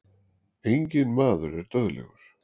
Enginn maður er dauðlegur.